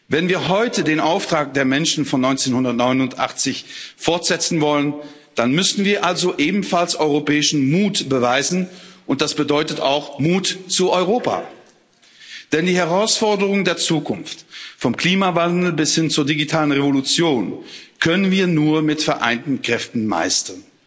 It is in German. Wenn wir heute den Auftrag der Menschen von 1989 fortsetzen wollen, dann müssen wir also ebenfalls europäischen Mut beweisen, und das bedeutet auch Mut zu Europa. Denn die Herausforderungen der Zukunft vom Klimawandel bis hin zur digitalen Revolution können wir nur mit vereinten Kräften meistern.